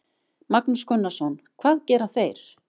Magnús Gunnarsson: Hvað gera þeir?